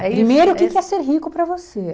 Primeiro, o que que é ser rico para você?